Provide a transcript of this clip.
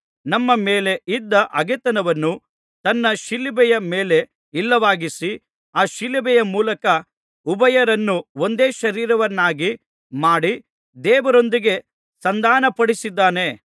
ನಮ್ಮ ಮೇಲೆ ಇದ್ದ ಹಗೆತನವನ್ನು ತನ್ನ ಶಿಲುಬೆಯ ಮೇಲೆ ಇಲ್ಲವಾಗಿಸಿ ಆ ಶಿಲುಬೆಯ ಮೂಲಕ ಉಭಯರನ್ನೂ ಒಂದೇ ಶರೀರವನ್ನಾಗಿ ಮಾಡಿ ದೇವರೊಂದಿಗೆ ಸಂಧಾನಪಡಿಸಿದ್ದಾನೆ